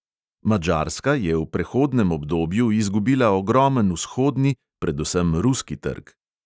Madžarska je v prehodnem obdobju izgubila ogromen vzhodni, predvsem ruski trg.